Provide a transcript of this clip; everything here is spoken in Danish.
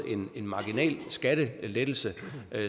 en marginalskattelettelse